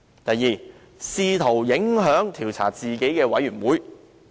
第二，試圖影響調查自己的專責委員會。